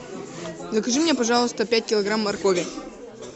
закажи мне пожалуйста пять килограмм моркови